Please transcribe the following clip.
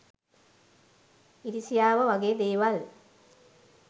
ඉරිසියාව වගේ දේවල්